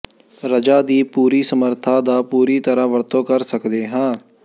ਰਜਾ ਦੀ ਪੂਰੀ ਸਮਰੱਥਾ ਦਾ ਪੂਰੀ ਤਰ੍ਹਾਂ ਵਰਤੋਂ ਕਰ ਸਕਦੇ ਹਾਂ